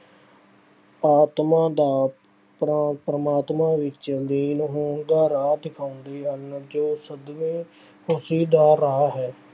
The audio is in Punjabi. ਆਤਮਾ ਦਾ ਪਰਾ ਅਹ ਪਰਮਾਤਮਾ ਵਿੱਚ ਲੀਨ ਹੋਣ ਦਾ ਰਾਹ ਦਿਖਾਉਂਦੇ ਹਨ ਜੋ ਸਦੀਵੀਂ ਖੁਸ਼ੀ ਦਾ ਰਾਹ ਹੈ।